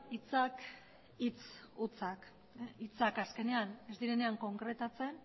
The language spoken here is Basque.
hitzak hitz hutsak hitzak azkenean ez direnean konkretatzen